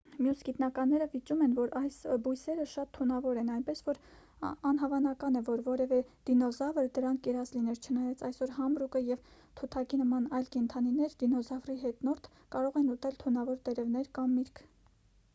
մյուս գիտնականները վիճում են որ այս բույսերը շատ թունավոր են այնպես որ անհավանական է որ որևէ դինոզավր դրանք կերած լիներ չնայած այսօր համրուկը և թութակի նման այլ կենդանիներ դինոզավրի հետնորդ կարող են ուտել թունավոր տերևներ կամ միրգ։